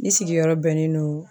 Ne sigiyɔrɔ bɛnnen no